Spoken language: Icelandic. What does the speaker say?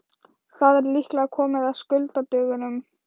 Það er líklega komið að skuldadögunum.